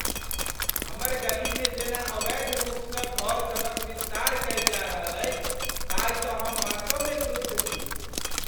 हमर गलीमे जेना अवैध रूपसँ घर सभक विस्तार कयल जा रहल अछि ताहिसँ हम वास्तवमे क्रुद्ध छी।